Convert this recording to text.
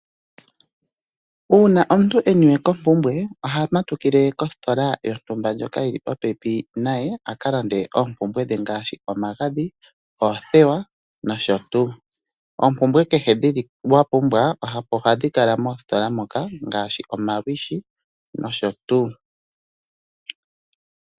Uuna omuntu e niwe kompumbwe oha matukile kositola yontumba ndjoka yi li popepi naye a ka lande oompumbwe dhe ngaashi omagadhi, oothewa nosho tuu. Ompumbwe kehe wa pumbwa omo hadhi kala moositola moka ngaashi omalwiishi nosho tuu.